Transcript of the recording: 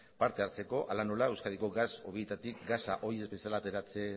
partehartzeko hala nola euskadiko gas hobietatik gasa oi ez bezala